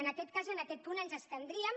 en aquest cas en aquest punt ens abstindríem